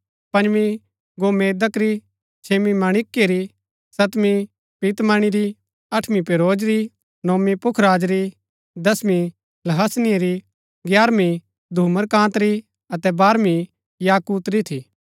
पंजवी गोमेदक री छेम्मी मणिक्य री सतवीं पीतमणी री अठबीं पेरोज री नोवीं पुखराज री दसवीं लहसनिए री ग्यारवीं धूम्रकान्त री अतै वारवी याकूत री थी